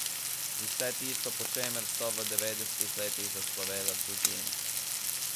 Vse tisto, po čemer so v devetdesetih letih zaslovele Fužine.